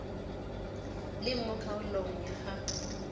leng mo kgaolong ya gagwe